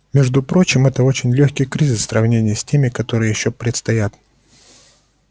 между прочим это очень лёгкий кризис в сравнении с теми которые ещё предстоят